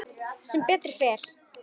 Sem betur fer?